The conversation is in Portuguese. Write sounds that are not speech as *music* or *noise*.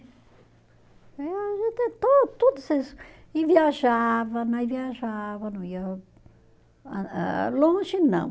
Eh a gente *unintelligible* e viajava, nós viajava, não ia ah ah longe, não.